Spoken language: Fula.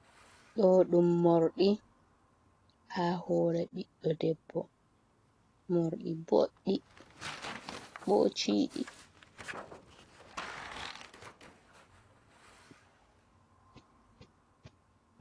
Ɗo ɗum morɗi ha hore ɓiɗɗo debbo morɗi boɗɗi ɓo ciɗi.